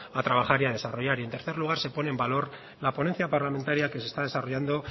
a trabajar y a desarrollar y en tercer lugar se pone en valor la ponencia parlamentaria que se está desarrollando